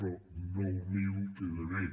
però nou mil queda bé